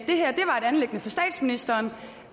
anliggende for statsministeren